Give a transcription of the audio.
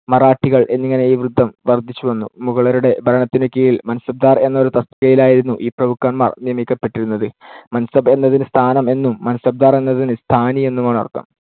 മറാഠികൾ എന്നിങ്ങനെ ഈ വൃന്ദം വർദ്ധിച്ചു വന്നു. മുഗളരുടെ ഭരണത്തിനു കീഴിൽ മാൻസബ്ദാർ എന്ന ഒരു തസ്തികയിലായിരുന്നു ഈ പ്രഭുക്കന്മാർ നിയമിക്കപ്പെട്ടിരുന്നത്. മാൻസാബ് എന്നതിന് സ്ഥാനം എന്നും മാൻസബ്ദാർ എന്നതിന് സ്ഥാനി എന്നുമാണ് അർത്ഥം.